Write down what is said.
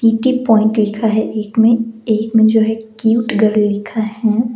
पीके point लिखा है एक में एक में जो है क्यूट गर्ल लिखा है।